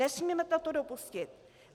Nesmíme toto dopustit.